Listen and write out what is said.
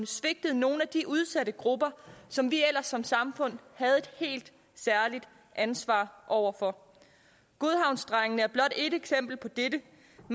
svigtet nogle af de udsatte grupper som vi ellers som samfund havde et helt særligt ansvar over for godhavnsdrengene er blot ét eksempel på dette